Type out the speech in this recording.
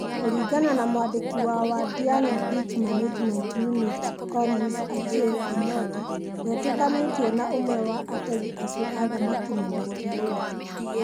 Kuringana na mwandiki wa Wadiang 'a Beach Management ũnit Collins Ochieng ', Omondi ndetĩkanirie na ũmwe wa ategi acio a thamaki na makĩrũa.